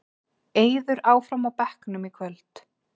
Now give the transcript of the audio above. Eiður áfram á bekknum í kvöld